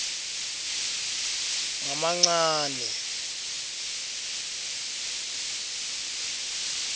ngamancane